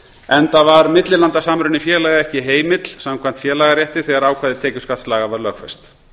enda var millilandasamruni félaga ekki heimill samkvæmt félagarétti þegar ákvæði tekjuskattslaga var lögfest